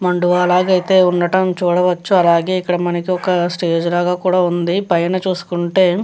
మండువ లాగా ఉండడం అయితే చూడవచ్చు అలాగే మనకి ఇక్కడ ఒక స్టేజ్ లాగా ఉంది పైన చూసుకుంటే --